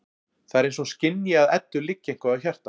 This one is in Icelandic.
Það er eins og hún skynji að Eddu liggur eitthvað á hjarta.